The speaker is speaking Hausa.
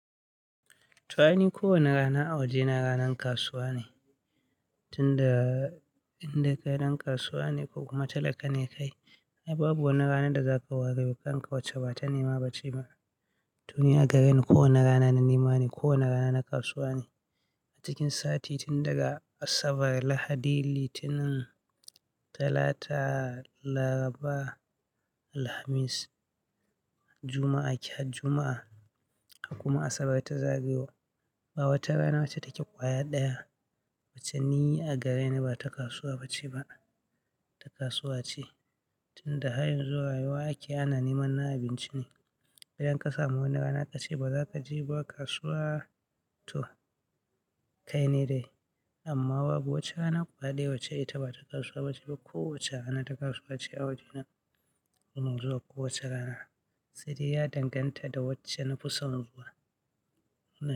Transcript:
To ai ni ko wane rana a waje na ranar kasuwa ne. Tun da inda kai ɗan kasuwa ne ko kuma talaka ne kai, ai babu wani rana da za ka ware wa kanka wacce ba ta nema ba ce ba. To ni a gareni kowane rana na nema ne, kowane rana na kasuwa ne. A cikin sati tun daga Asabar, Lahadi, Litinin, Talata, Laraba, Alhamis, Juma'a, Ke har Juma'a har kuma Asabar ta zagayo. Ba wata rana wacce take ƙwaya ɗaya, wacce ni a gareni ba ta kasuwa ba ce ba, ta kasuwa ce. Tun da hanyar zuwa rayuwa ake ana neman na abinci ne. Idan ka samu wani rana ka ce ba za ka je ba kasuwa to kai ne dai. Amma babu wata rana ƙwaya ɗaye wacce ita ba ta kasuwa ba ce ba. Ko wace rana ta kasuwa ce a waje na. Kuma zuwa ko wace rana, sai dai ya danganta da wacce na na fi son zuwa.